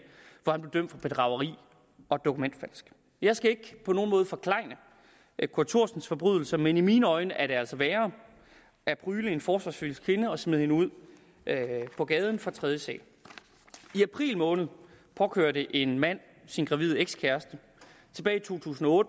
hvor han blev dømt for bedrageri og dokumentfalsk jeg skal ikke på nogen måde forklejne kurt thorsens forbrydelser men i mine øjne er det altså værre at prygle en forsvarsløs kvinde og smide hende ud på gaden fra tredje sal i april måned påkørte en mand sin gravide ekskæreste tilbage i to tusind og